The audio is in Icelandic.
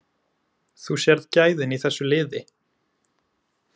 Þú sérð gæðin í þessu liði.